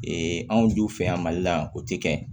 Ee anw juw fɛ yan mali la o ti kɛ